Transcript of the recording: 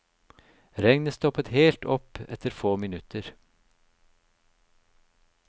Regnet stoppet helt opp etter få minutter.